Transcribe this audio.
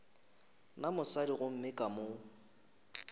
na mosadi gomme ka mo